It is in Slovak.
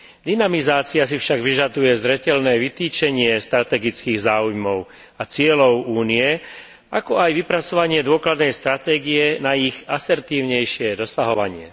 Dynamizácia si však vyžaduje zreteľné vytýčenie strategických záujmov a cieľov Únie, ako aj vypracovanie dôkladnej stratégie na ich asertívnejšie dosahovanie.